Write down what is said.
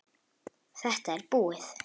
Þetta er búið.